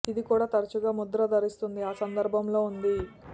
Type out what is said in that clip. ఇది కూడా తరచుగా ముద్ర ధరిస్తుంది ఆ సందర్భంలో ఉంది